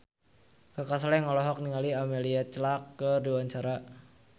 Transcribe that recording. Kaka Slank olohok ningali Emilia Clarke keur diwawancara